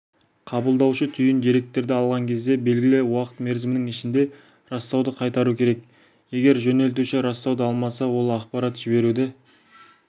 қабылдаушы түйін деректерді алған кезде белгілі уақыт мерзімінің ішінде растауды қайтару керек егер жөнелтуші растауды алмаса ол ақпарат жіберуді